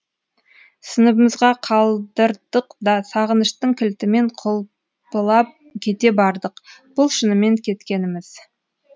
сыныбымызға қалдырдық да сағыныштың кілтімен құлпылап кете бардық бұл шынымен кеткеніміз